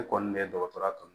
Ne kɔni bɛ dɔgɔtɔrɔya kanu